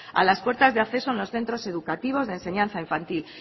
a las puertas de acceso en los centros educativos de enseñanza infantil